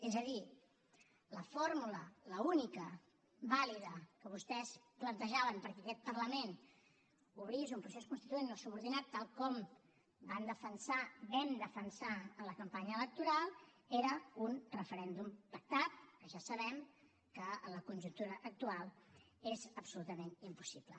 és a dir la fórmula l’única vàlida que vostès plantejaven perquè aquest parlament obrís un procés constituent no subordinat tal com van defensar vam defensar en la campanya electoral era un referèndum pactat que ja sabem que en la conjuntura actual és absolutament impossible